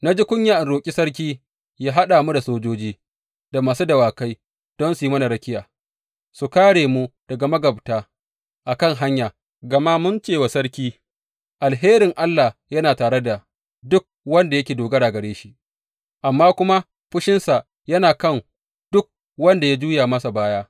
Na ji kunya in roƙi sarki yă haɗa mu da sojoji da masu dawakai don su yi mana rakiya su kāre mu daga magabta a kan hanya, gama mun ce wa sarki, Alherin Allah yana tare da duk wanda yake dogara gare shi, amma kuma fushinsa yana kan duk wanda ya juya masa baya.